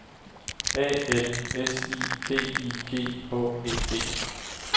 A L S I D I G H E D